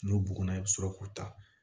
N'o bugunna i bɛ sɔrɔ k'u ta